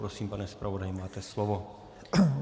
Prosím, pane zpravodaji, máte slovo.